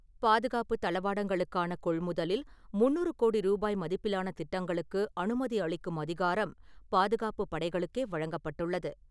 பாதுகாப்புத் தளவாடங்களுக்கான கொள்முதலில் முந்நூறு கோடி ரூபாய் மதிப்பிலான திட்டங்களுக்கு அனுமதி அளிக்கும் அதிகாரம் பாதுகாப்புப் படைகளுக்கே வழங்கப்பட்டுள்ளது.